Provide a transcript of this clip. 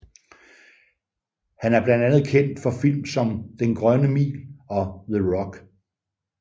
Han er blandt andet kendt for film som Den Grønne Mil og The Rock